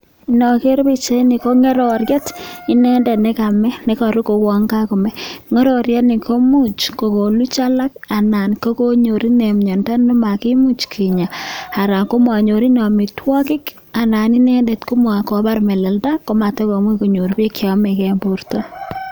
Inogeere boisioni ko ngororiet, inendet nekame, nekaru kouwon kakome, ngororiet ni komuch kokoluch alak anan konyor ine miando nemakimuch kinya anan manyor ine amitwokik anan inendet kobar melelda komaimuch kotokonyor beek cheyamekei eng borto.